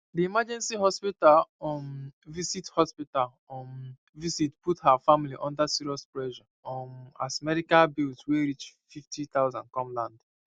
the emergency hospital um visit hospital um visit put her family under serious pressure um as medical bills wey reach 50000 come land